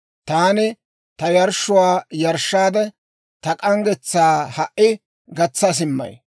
«Taani ta yarshshuwaa yarshshaade, ta k'anggetsaa ha"i gatsa simmay.